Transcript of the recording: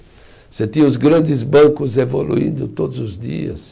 Você tinha os grandes bancos evoluindo todos os dias.